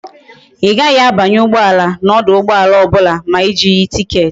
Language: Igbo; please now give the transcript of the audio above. I gaghi a banye ugboala na oduugboala obula ma i jighi ticket